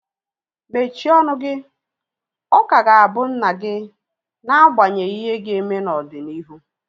Mechie ọnụ gị! Ọ ka ga-abụ nna gị n'agbanyeghị ihe ga-eme n'ọdịnihu